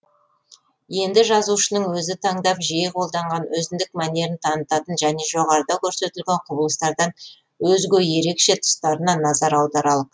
енді жазушының өзі таңдап жиі қолданған өзіндік мәнерін танытатын және жоғарыда көрсетілген құбылыстардан өзге ерекше тұстарына назар аударалық